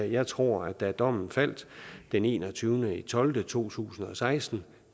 jeg tror at da dommen faldt den en og tyve tolv 2016